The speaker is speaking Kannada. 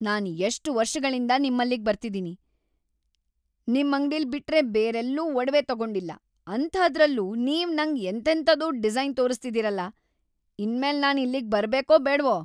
ನಾನ್‌ ಎಷ್ಟ್ ವರ್ಷಗಳಿಂದ ನಿಮ್ಮಲ್ಲಿಗ್‌ ಬರ್ತಿದೀನಿ, ನಿಮ್ಮಂಗ್ಡಿಲ್‌ ಬಿಟ್ರೆ ಬೇರೆಲ್ಲೂ ಒಡವೆ ತಗೊಂಡಿಲ್ಲ, ಅಂಥಾದ್ರಲ್ಲೂ ನೀವ್ ನಂಗ್ ಎಂತೆಂಥದೋ ಡಿಸೈನ್‌ ತೋರಿಸ್ತಿದೀರಲ! ಇನ್ಮೇಲ್‌ ನಾನ್‌ ಇಲ್ಲಿಗ್‌ ಬರ್ಬೇಕೋ ಬೇಡ್ವೋ?!